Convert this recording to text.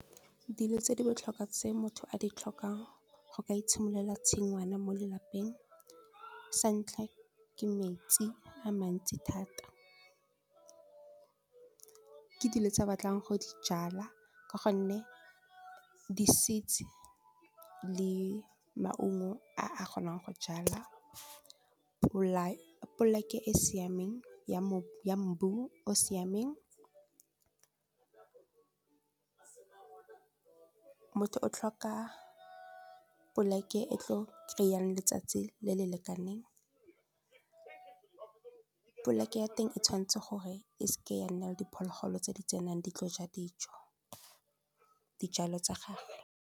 Dilo tse di botlhokwa tse motho a di tlhokang go ka itshimololela tshingwana mo lelapeng sa ntlha ke metsi a mantsi thata ke dilo tse batlang go di jala ka gonne di seeds le maungo a a kgonang go jala, poleke e siameng ya mbu o siameng motho o tlhoka poleke e tlo kry-ang letsatsi le le lekaneng poleke ya teng e tshwanetse gore e seke ya nna le diphologolo tse di tsenang di tlo ja dijo dijalo tsa gago.